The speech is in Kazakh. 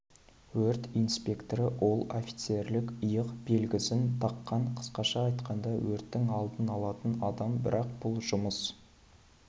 өрт инспекторы ол офицерлік иық белгісін таққан қысқаша айтқанда өрттің алдын алатын адам бірақ бұл жұмыс